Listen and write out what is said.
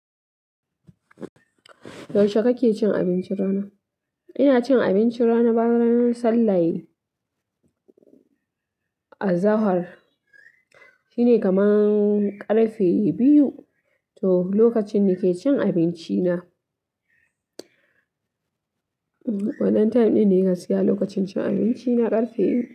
Yaushe kake cin abincin rana? Ina cin abincin rana bayan sallan azahar. Shine kaman ƙarfe biyu to lokacin da nake cin abinci na. Wadan time ɗin ne ka siya lokacin cin abinci na ƙarfe biyu?